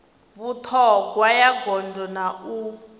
vhuṱhogwa ya gondo na u